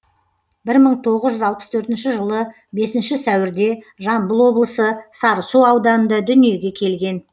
бір мың тоғыз жүз алпыс төртінші жылы бесінші сәуірде жамбыл облысы сарысу ауданында дүниеге келген